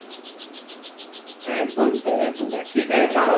একদম তাই একদম তাই ঠিক আছে চলো